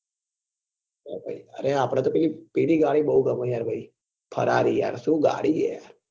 અરે આપડે તો પેલી પેલી ગાડી બઉ ગમે યાર ભાઈ farrari યાર શું ગાડી છે યાર